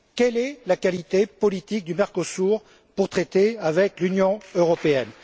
Quelle est la qualité politique du Mercosur pour traiter avec l'Union européenne?